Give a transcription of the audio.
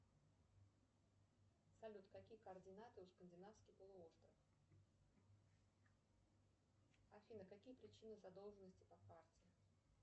салют какие координаты у скандинавский полуостров афина какие причины задолженности по карте